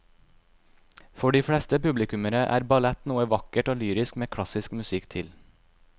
For de fleste publikummere er ballett noe vakkert og lyrisk med klassisk musikk til.